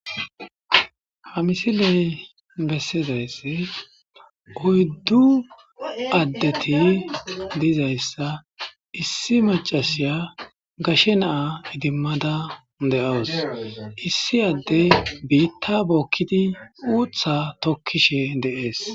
Ha misiley bessizaysse oyddu addeti dizayssa issi macasiya gashe naa idimmada de'awus issi adde biitta bookkidi uutha tokkishe deees.